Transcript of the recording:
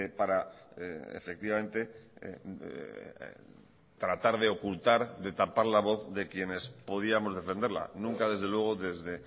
para efectivamente tratar de ocultar de tapar la voz de quienes podíamos defenderla nunca desde luego desde